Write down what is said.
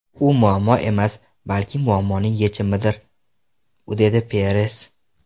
U muammo emas, balki muammoning yechimidir”, ― dedi Peres.